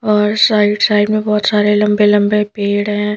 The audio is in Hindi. और साइड- साइड में बहुत सारे लंबे-लंबे पेड़ हैं।